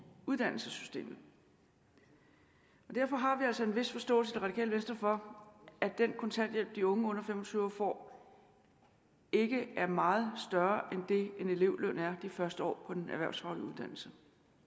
uddannelsessystemet derfor har vi altså en vis forståelse i det radikale venstre for at den kontanthjælp de unge under fem og tyve år får ikke er meget større end det en elevløn er de første år på den erhvervsfaglige uddannelse